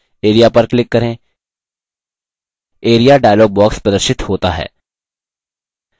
area पर click करें area dialog box प्रदर्शित होता है